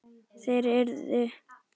Þær urðu